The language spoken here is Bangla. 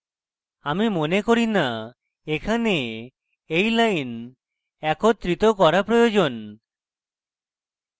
আমি মনে করি না এখানে এই লাইন একত্রিত করা প্রয়োজন